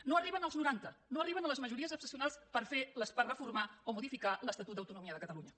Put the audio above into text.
no arriben als noranta no arriben a les majories excepcionals per reformar o modificar l’estatut d’autonomia de catalunya